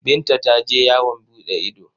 Binta ta je yawon buɗe ido.